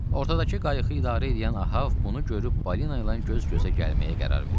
Ortadakı qayıqı idarə eləyən Ahab bunu görüb balina ilə göz-gözə gəlməyə qərar verdi.